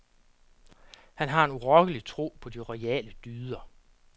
Han har en urokkelig tro på de royale dyder.